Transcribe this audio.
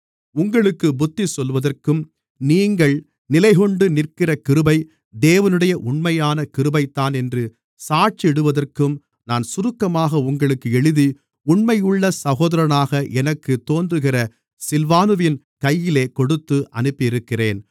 உங்களுக்குப் புத்திசொல்லுவதற்கும் நீங்கள் நிலைகொண்டு நிற்கிற கிருபை தேவனுடைய உண்மையான கிருபைதான் என்று சாட்சியிடுவதற்கும் நான் சுருக்கமாக உங்களுக்கு எழுதி உண்மையுள்ள சகோதரனாக எனக்குத் தோன்றுகிற சில்வானுவின் கையிலே கொடுத்து அனுப்பியிருக்கிறேன்